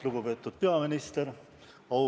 Lugupeetud peaminister!